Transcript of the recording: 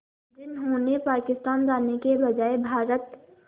जिन्होंने पाकिस्तान जाने के बजाय भारत